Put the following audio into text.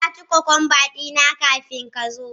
Na ci cucumber dina kafin ka zo.